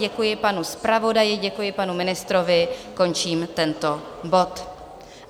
Děkuji panu zpravodaji, děkuji panu ministrovi, končím tento bod.